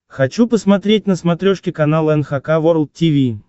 хочу посмотреть на смотрешке канал эн эйч кей волд ти ви